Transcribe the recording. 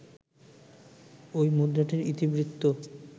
ঐ মুদ্রাটির ইতিবৃত্ত